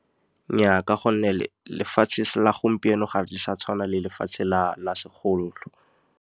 Nnyaa, ka gonne lefatshe la gompieno gape sa tshwana le lefatshe la segolo.